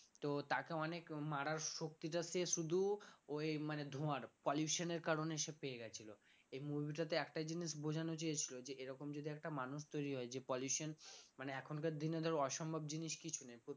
তো তাকে অনেক মারার শক্তিটা সে শুধু ওই মানে ধোয়ার pollution এর কারণে সে পেয়ে গেছিল এই movie টা তে একটাই জিনিস বোঝানো চেয়েছিল যে এরকম যদি একটা মানুষ তৈরি হয় যে pollution মানে এখনকার দিনে ধর অসম্ভব জিনিস কিছু নেই